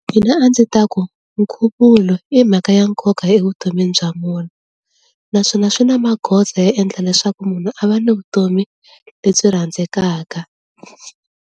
Mina a ndzi ta ku nkhuvulo i mhaka ya nkoka evutomini bya vona naswona swi na magoza yo endla leswaku munhu a va le vutomi lebyi rhandzekaka.